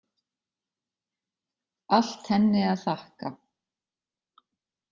Allt henni að þakka.